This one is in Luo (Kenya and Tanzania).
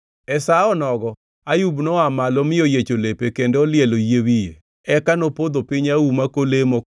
E sa onogo, Ayub noa malo mi oyiecho lepe kendo olielo yie wiye. Eka nopodho piny auma kolemo,